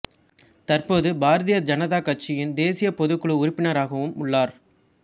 தற்போது பாரதிய ஜனதா கட்சியின் தேசிய பொதுக்குழு உறுப்பினராகவும் உள்ளார்